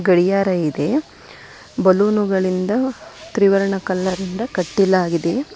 ಗಡಿಯಾರ ಇದೆ ಬಲೂನುಗಳಿಂದ ತ್ರಿವರ್ಣ ಕಲರ್ನಿಂದ ಕಟ್ಟಲಾಗಿದೆ.